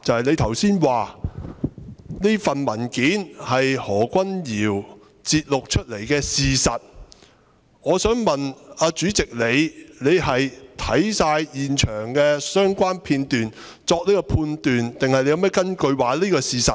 你剛才說這份文件是何君堯議員節錄出來的事實，我想問主席你是否已看過全部現場相關片段才作出判斷，還是你有何根據認為這是事實？